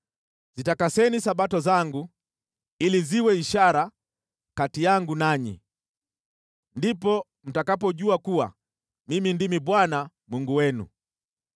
Zitakaseni Sabato zangu ili ziwe ishara kati yangu nanyi. Ndipo mtakapojua kuwa Mimi ndimi Bwana , Mungu wenu.”